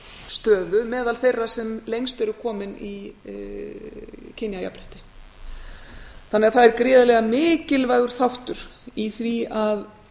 stöðu meðal þeirra sem lengst eru komin í kynjajafnrétti þannig að það er gríðarlega mikilvægur þáttur í því að